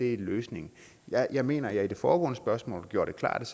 er løsningen jeg jeg mener at jeg i det foregående spørgsmål gjorde det klart